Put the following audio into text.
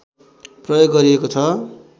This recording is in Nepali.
प्रयोग गरिएको छ